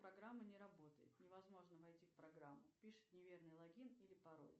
программа не работает невозможно войти в программу пишет неверный логин или пароль